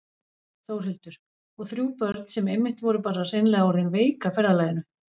Þórhildur: Og þrjú börn sem einmitt voru bara hreinlega orðin veik af ferðalaginu?